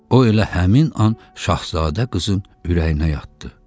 O elə həmin an şahzadə qızın ürəyinə yatdı.